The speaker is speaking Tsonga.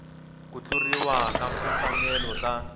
ku tluriwa ka timfanelo ta